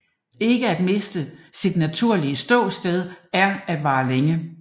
Ikke at miste sit naturlige ståsted er at vare længe